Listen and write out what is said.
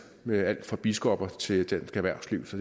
med alt fra biskopper til dansk erhvervsliv så